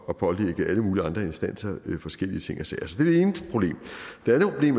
og pålægge alle mulige andre instanser forskellige ting og sager